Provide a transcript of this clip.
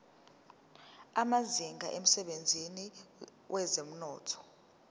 amazinga emsebenzini wezomnotho